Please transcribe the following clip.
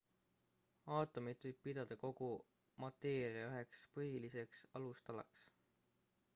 aatomit võib pidada kogu mateeria üheks põhiliseks alustalaks